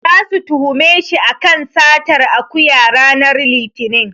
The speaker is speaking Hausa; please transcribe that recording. Zasu tuhume shi a kan satar akuya ranar Litinin.